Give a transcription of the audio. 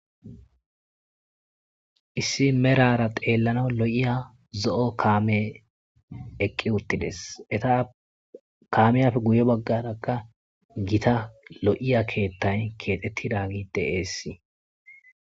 Issi medhara xelanawu lo'eya zo'o kamey eqi utides kameyape guye bagaraka gitta lo'iay kethay kexetidagey de'es